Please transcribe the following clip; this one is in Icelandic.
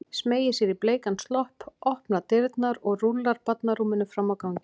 Smeygir sér í bleikan slopp, opnar dyrnar og rúllar barnarúminu fram á ganginn.